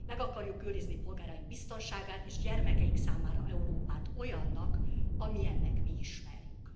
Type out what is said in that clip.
Meg akarjuk őrizni polgáraink biztonságát és gyermekeink számára Európát olyannak, amilyennek mi ismerjük.